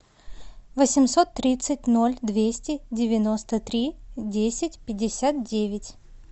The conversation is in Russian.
восемьсот тридцать ноль двести девяносто три десять пятьдесят девять